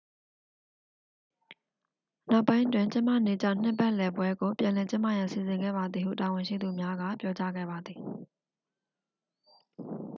နောက်ပိုင်းတွင် ကျင်းပနေကျနှစ်ပတ်လည်ပွဲကို ပြန်လည်ကျင်းပရန်စီစဉ်ခဲ့ပါသည်ဟု တာဝန်ရှိသူများက ပြောကြားခဲ့ပါသည်